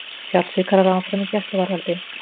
Fjársvikarar áfram í gæsluvarðhaldi